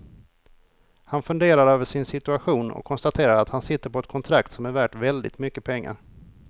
Han funderar över sin situation och konstaterar att han sitter på ett kontrakt som är värt väldigt mycket pengar.